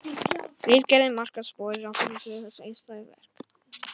Ritgerðin markaði spor í rannsóknarsögu þessa einstæða verks.